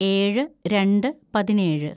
ഏഴ് രണ്ട് പതിനേഴ്‌